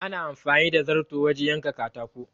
Ana anfani da zarto wajen yankan katako.